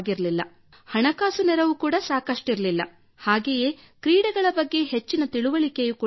ಹಣಕಾಸು ನೆರವು ಕೂಡಾ ಸಾಕಷ್ಟಿರಲಿಲ್ಲ ಹಾಗೆಯೇ ಕ್ರೀಡೆಗಳ ಬಗ್ಗೆ ಹೆಚ್ಚಿನ ತಿಳುವಳಿಕೆಯೂ ಇರಲಿಲ್ಲ